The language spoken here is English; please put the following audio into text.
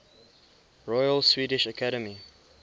royal swedish academy